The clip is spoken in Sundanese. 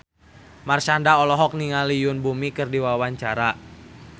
Marshanda olohok ningali Yoon Bomi keur diwawancara